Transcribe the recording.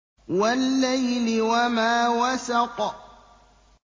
وَاللَّيْلِ وَمَا وَسَقَ